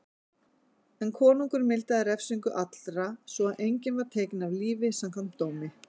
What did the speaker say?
En konungur mildaði refsingu allra svo að enginn var tekinn af lífi samkvæmt dómi.